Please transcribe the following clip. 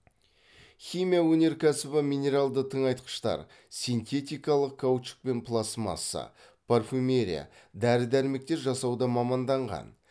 химия өнеркәсібі минералды тыңайтқыштар синтетикалық каучук пен пластмасса парфюмерия дәрі дәрмектер жасауға маманданған